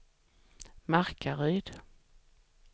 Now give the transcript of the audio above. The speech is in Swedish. Markaryd